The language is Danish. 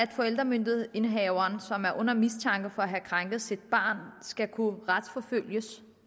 en forældremyndighedsindehaver som er under mistanke for at have krænket sit barn skal kunne retsforfølges